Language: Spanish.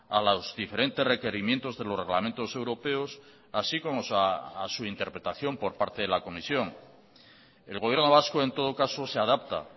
a los diferentes requerimientos de los reglamentos europeos así como a su interpretación por parte de la comisión el gobierno vasco en todo caso se adapta